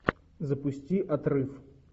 запусти отрыв